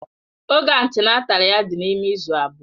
Oge antịnátál ya dị n'ime izu abụọ